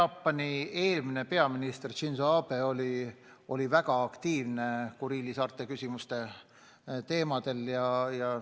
Jaapani eelmine peaminister Shinzō Abe oli väga aktiivne Kuriili saarte küsimusi ajades.